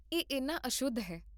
ਇਹ ਇੰਨਾ ਅਸ਼ੁੱਧ ਹੈ